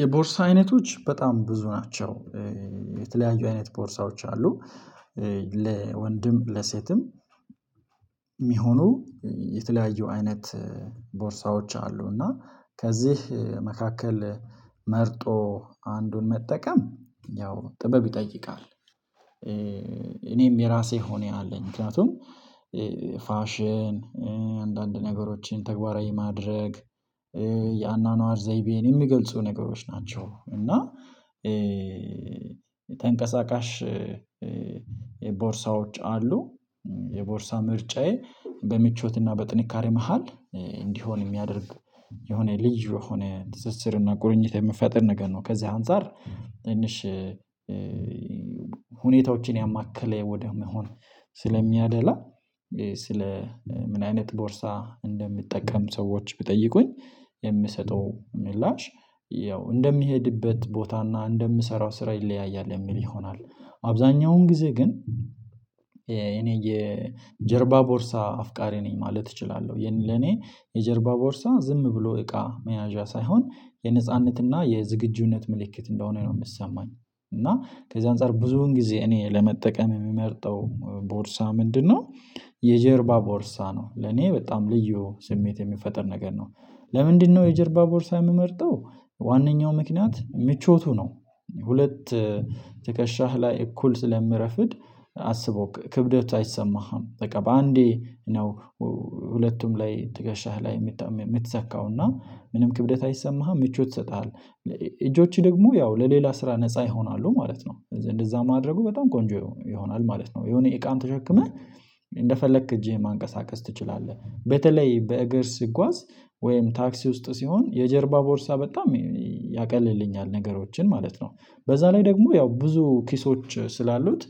የቦርሳ አይነቶች በጣም ብዙ ናቸው የተለያዩ አይነት ቦርሳዎች አሉ። ለወንድም ለሴትም የሚሆኑ የተለያዩ አይነት ቦርሳዎች አሉ እና ከዚህ መካከል መርጦ አንዱን መጠቀም ያው ጥበብ ይጠይቃል። እኔም የራሴ ሆኜ አለኝ ምክንያቱም ፋሽን አንዳንድ ነገሮችን ተግባራዊ ማድረግ የአኗኗር ዘይቤን የሚገልጹ ነገሮች ናቸው። እና ተንቀሳቃሽ የቦርሳዎች አሉ። የቦርሳ ምርጫዬ በምቾትና በጥንካሬ መሃል እንዲሆን የሚያደርግ የሆነ ልዩ የሆነ ትስስርና ቁርኝት የሚፈጥር ነገር ነው። ከዚህ አንፃር ትንሽ ሁኔታዎችን ያማከለ ወደ መሆን ስለሚያደላ። ስለ ምን አይነት ቦርሳ እንደምትጠቀም ሰዎች ብጠይቁኝ የምሰጠው ምላሽ ያው እንደሚሄድበት ቦታና እንደምሰራው ስራ ይለያያል የሚል ይሆናል። አብዛኛውን ጊዜ ግን እኔ የጀርባ ቦርሳ አፍቃሪ ነኝ ማለት እችላለሁ። ይሄን ለኔ የጀርባ ቦርሳ ዝም ብሎ እቃ መያዣ ሳይሆን የነጻነትና የዝግጁነት ምልክት እንደሆነ ነው የምትሰማኝ። እና ከዛ አንፃር ብዙን ጊዜ እኔ ለመጠቀም የምመርጠው ቦርሳ ምንድነው? የጀርባ ቦርሳ ነው ለኔ በጣም ልዩ ስሜት የሚፈጥር ነገር ነው። ለምንድነው የጀርባ ቦርሳ የምመርጠው? ዋናኛው ምክንያት ምቾቱ ነው። ሁለት ትከሻህ ላይ እኩል ስለምረፍድ አስቦ ክብደት አይሰማህም በቃ በአንዴ ነው። ሁለቱም ላይ ትገሻህ ላይ የምትሰካውና ምንም ክብደት አይሰማህም ምቾት ይሰጥሃለህ እጆቼ ደግሞ ያው ለሌላ ስራ ነፃ ይሆናሉ ማለት ነው። እንደዛ ማድረጉ በጣም ቆንጆ ይሆናል ማለት ነው። የሆነ እቃን ተሸክመህ እንደፈለክ እጄህ ማንቀሳቀስ ትችላለህ። በተለይ በእግር ስጋዝ ወይም ታክሲ ውስጥ ሲሆን የጀርባ ቦርሳ በጣም ያቀልልኛል ነገሮችን ማለት ነው። በዛ ላይ ደግሞ ያው ብዙ ኪሶች ስላሉት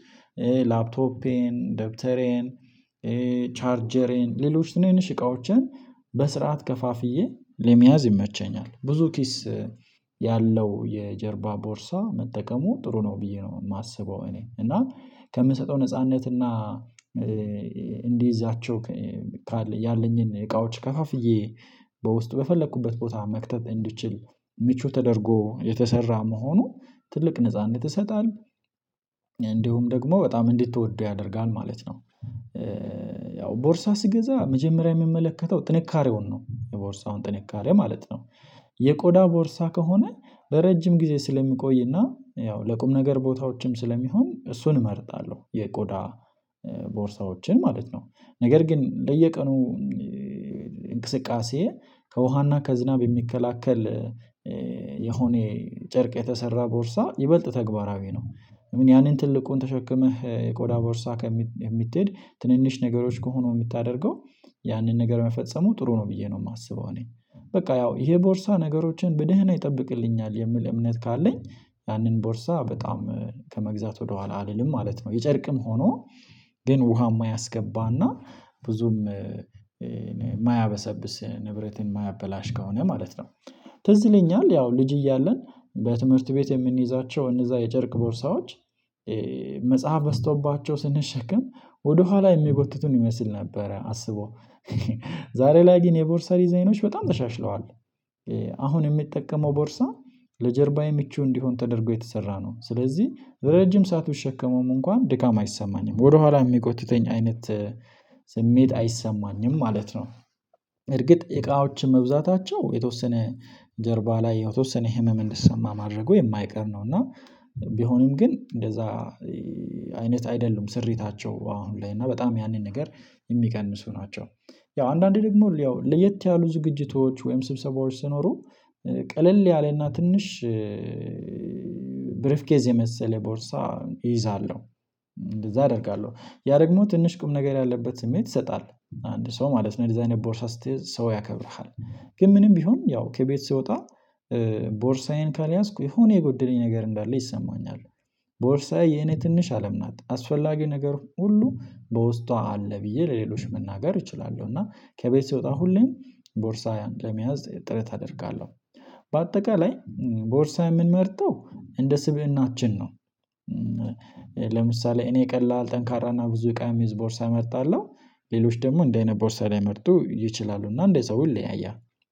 ላፕቶፔን ደብተሬን ቻርጀሬን ሌሎች ትንንሽ እቃዎችን በስርዓት ከፋፍዬ ለመያዝ ይመቸኛል። ብዙ ኪስ ያለው የጀርባ ቦርሳ መጠቀሙ ጥሩ ነው ብዬ ነው የማስበው። እኔ እና ከምሰጠው ነጻነት እና እንዲይዛቸው ያለኝን እቃዎች ከፈፍዬ በውስጡ በፈለኩበት ቦታ መክተት እንድትችል ምቹ ተደርጎ የተሰራ መሆኑ ትልቅ ነጻነት ይሰጣል። እንዲሁም ደግሞ በጣም እንድትወደው ያደርጋል ማለት ነው። ያው ቦርሳ ስገዛ መጀመሪያ የምመለከተው ጥንካሬውን ነው የቦርሳውን ጥንካሬ ማለት ነው። የቆዳ ቦርሳ ከሆነ በረጅም ጊዜ ስለሚቆይና ያው ለቁም ነገር ቦታዎችም ስለሚሆን እሱን እመርጣለሁ የቆዳ ቦርሳዎችን ማለት ነው። ነገር ግን ለየቀኑ እንቅስቃሴ ከውሃና ከዝናብ የሚከላከል የሆነ ጨርቅ የተሰራ ቦርሳ ይበልጥ ተግባራዊ ነው። ምን ያንን ትልቁን ተሸክመህ የቆዳ ቦርሳ ከምትሄድ ትንንሽ ነገሮች ከሆኑ የምታደርገው ያንን ነገር መፈጸሙ ጥሩ ነው ብዬ ነው የማስበው እኔ። በቃ ያው ይሄ ቦርሳ ነገሮችን በደህና ይጠብቅልኛል የምል እምነት ካለኝ ያንን ቦርሳ በጣም ከመግዛት ወደኋላ አልልም ማለት ነው። የጨርቅም ሆኖ ግን ውሃም የማያስገባና ብዙም የማያበሰብስ ንብረትን የማያበላሽ ከሆነ ማለት ነው። ትዝለኛል ያው ልጅ እያለን በትምህርት ቤት የምንይዛቸው እነዛ የጨርቅ ቦርሳዎች መጽሐፍ በዝቶባቸው ስንሸከም ወደኋላ የሚጎትቱን ይመስል ነበረ አስቦ ዛሬ ላይ ግን የቦርሳ ዲዛይኖች በጣም ተሻሽለዋል። አሁን የሚጠቀመው ቦርሳ ለጀርባ የሚቹ እንዲሆን ተደርጎ የተሰራ ነው ስለዚህ ለረጅም ሰዓት ብትሸከመውም እንኳን ድካም አይሰማኝም ወደኋላ የሚጎትተኝ አይነት ስሜት አይሰማኝም ማለት ነው። እርግጥ እቃዎች መብዛታቸው የተወሰነ ጀርባ ላይ የተወሰነ ህመም እንዲሰማ ማድረጉ የማይቀር ነው። እና ቢሆንም ግን እንደዛ አይነት አይደሉም ስሪታቸው አሁን ላይ እና በጣም ያንን ነገር የሚቀንሱ ናቸው። ያው አንዳንዴ ደግሞ ለየት ያሉ ዝግጅቶች ወይም ስብሰባዎች ስኖሩ ቀለል ያለና ትንሽ ብሪፍ ኬዝ የመሰለ ቦርሳ እይዛለሁ። እንደዛ አደርጋለሁ ያ ደግሞ ትንሽ ቁም ነገር ያለበት ስሜት ይሰጣል አንድ ሰው ማለት ነው እንደዚ አይነት ቦርሳ ስትይዝ ሰው ያከብርሃል። ግን ምንም ቢሆን ያው ከቤት ስወጣ ቦርሳዬን ካልያዝኩ የሆነ የጎደለኝ ነገር እንዳለ ይሰማኛል። ቦርሳዬ የኔ ትንሽ አለም ናት አስፈላጊ ነገር ሁሉ በውስጧ አለ ብዬ ለሌሎች መናገር እችላለሁ። እና ከቤት ሲወጣ ሁሌም ቦርሳያን ለመያዝ ጥረት አደርጋለሁ። በአጠቃላይ ቦርሳ የምንመርጠው እንደ ስብእናችን ነው። ለምሳሌ እኔ ቀላል ጠንካራና ብዙ እቃ የሚዝ ቦርሳ እመርጣለሁ። ሌሎች ደግሞ እንደዚህ አይነት ቦርሳ ላይመርጡ ይችላሉ እና እንደ ሰው ይለያያል።